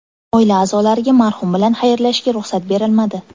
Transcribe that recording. Oila a’zolariga marhum bilan xayrlashishga ruxsat berilmadi.